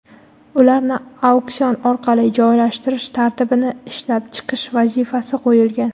ularni auksion orqali joylashtirish tartibini ishlab chiqish vazifasi qo‘yilgan.